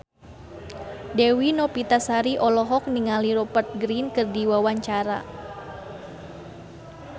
Dewi Novitasari olohok ningali Rupert Grin keur diwawancara